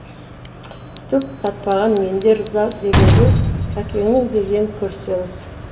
түк татпаған менде ырза дегенде кәкеңнің дегенін көрсеңіз